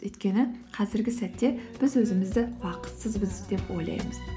өйткені қазіргі сәтте біз өзімізді бақытсызбыз деп ойлаймыз